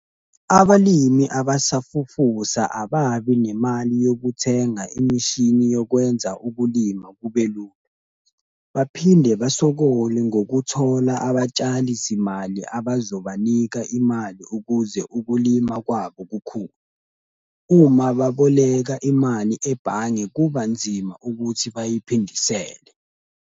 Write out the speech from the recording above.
Abalimi abasafufusa ababi nemali yokuthenga imishini yokwenza ukulima kubelula. Baphinde basokole ngokuthola abatshali zimali abazobanika imali ukuze ukulima kwabo kukhule. Uma baboleka imali ebhange, kuba nzima ukuthi bayiphindisele.